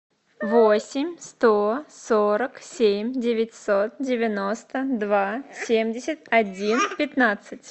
восемь сто сорок семь девятьсот девяносто два семьдесят один пятнадцать